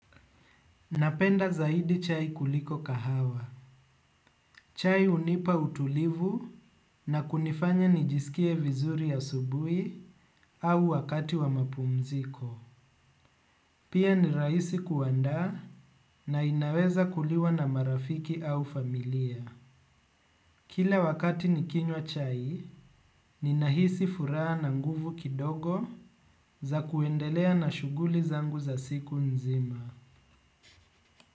Napenda zaidi chai kuliko kahawa. Chai unipa utulivu na kunifanya nijisikie vizuri asubuhi au wakati wa mapumziko. Pia nirahisi kuandaa na inaweza kuliwa na marafiki au familia. Kila wakati nikinywa chai, ninahisi furaha na nguvu kidogo za kuendelea na shughuli zangu za siku nzima.